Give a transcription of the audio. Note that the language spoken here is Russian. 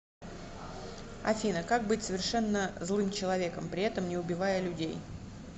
афина как быть совершенно злым человеком при этом не убивая людей